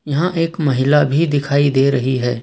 यहां एक महिला भी दिखाई दे रही है।